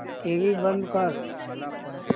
TV बंद कर